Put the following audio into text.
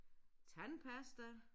Tandpasta